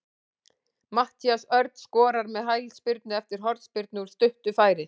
Matthías Örn skorar með hælspyrnu eftir hornspyrnu úr stuttu færi.